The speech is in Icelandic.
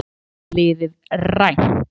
Danska liðið rænt